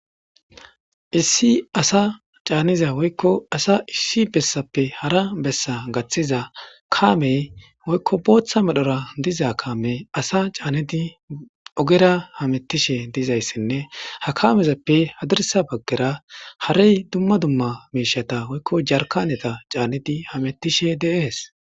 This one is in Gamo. issi asa caaniza woykko asa issi bessappe hara bessa gaththiza kaamey woykko booththa medhora diza kaame asa caanedi ogera hamettishe dizayssenne ha kamezappe hadirsa baggera harey dumma dumma miishata woykko jarkaneta caanedi hamettishe deees